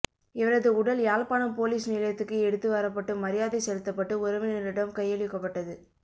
இவரது உடல் யாழ்ப்பாணம் பொலிஸ் நிலையத்துக்கு எடுத்து வரப்பட்டு மரியாதை செலுத்தப்பட்டு உறவினரிடம் கையளிக்கப்பட்டது